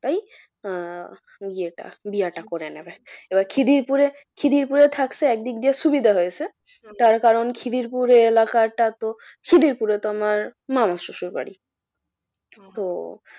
তাই আহ বিয়েটা বিয়াটা করে নেবে। এবার খিদিরপুরে খিদিরপুরে থাকছে একদিক দিয়ে সুবিধা হয়েছে খিদিরপুরে এলাকাটা তো খিদিরপুরে তো আমার মামা শশুর বাড়ি।